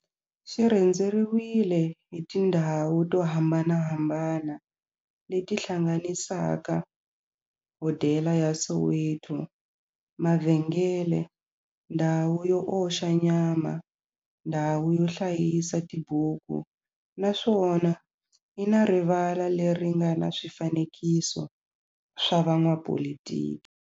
Xi rhendzeriwile hi tindhawu to hambanahambana le ti hlanganisaka, hodela ya Soweto, mavhengele, ndhawu yo oxa nyama, ndhawu yo hlayisa tibuku, naswona yi na rivala le ri nga na swifanekiso swa vo n'watipolitiki.